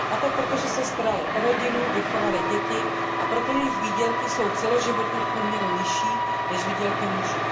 A to proto, že se staraly o rodinu, vychovaly děti, a proto jsou jejich výdělky celoživotně v průměru nižší než výdělky mužů.